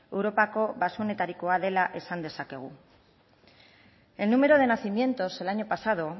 europako baxuetarikoa dela esan dezakegu el número de nacimientos el año pasado